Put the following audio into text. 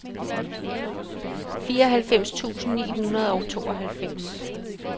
fireoghalvfems tusind ni hundrede og tooghalvfems